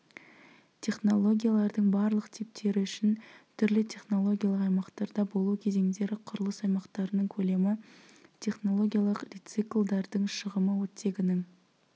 технологиялардың барлық типтері үшін түрлі технологиялық аймақтарда болу кезеңдері құрылыс аймақтарының көлемі технологиялық рециклдардың шығымы оттегінің